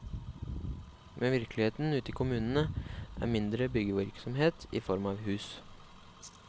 Men virkeligheten ute i kommunene er mindre byggevirksomhet i form av hus.